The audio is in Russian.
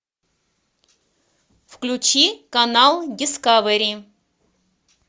включи канал дискавери